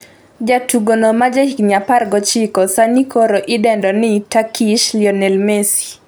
jatugono ma jahigni 19 sani koro idendo ni ' Turkish Lionel Messy'